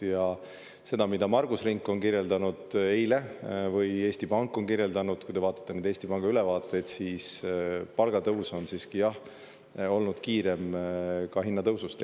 Ja seda, mida Margus Rink kirjeldas eile või Eesti Pank on kirjeldanud, kui te vaatate Eesti Panga ülevaateid, siis palgatõus on siiski, jah, olnud kiirem ka hinnatõusust.